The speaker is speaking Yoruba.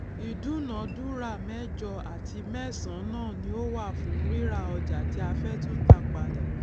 ìdúnàdúrà méjọ àti mẹsanán ni ó wà fún ríra ọjà tí a fẹ tú tà padà